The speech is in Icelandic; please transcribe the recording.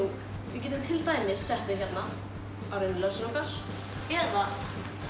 við getum til dæmis sett þau hérna á rennilásinn okkar eða